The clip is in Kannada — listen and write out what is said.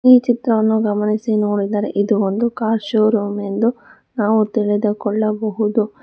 ಈ ಚಿತ್ರವನ್ನು ಗಮನಿಸಿ ನೋಡಿದರೆ ಇದು ಒಂದು ಕಾರ್ ಶೋರೂಮ್ ಎಂದು ನಾವು ತಿಳಿದು ಕೊಳ್ಳಬಹುದು.